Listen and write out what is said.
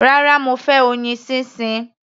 Rárá, mo fẹ́ oyin sísìn.